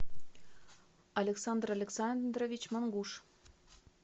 александр александрович монгуш